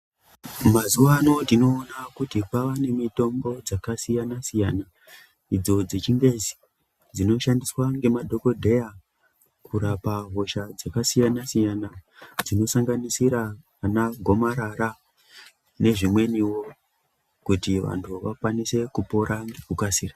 Mazuva anawa tinoona kuti kwavanemitombo dzakasiyana siyana idzo dzechingezi dzinoshandiswa nemadhokodheya kurapa hosha dzakasiyana-siyana dzinosanganisira ana gomarara nezvimweniwo kuti vantu vakasire kupona nekukasira.